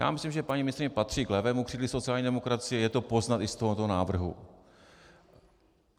Já myslím, že paní ministryně patří k levému křídlu sociální demokracie, je to poznat i z tohoto návrhu.